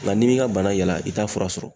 Nka n'i m'i ka bana yala i t'a fura sɔrɔ.